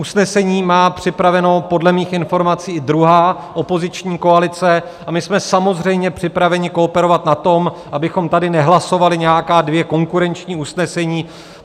Usnesení má připraveno podle mých informací i druhá opoziční koalice a my jsme samozřejmě připraveni kooperovat na tom, abychom tady nehlasovali nějaká dvě konkurenční usnesení.